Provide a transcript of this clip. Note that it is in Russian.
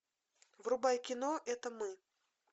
врубай кино это мы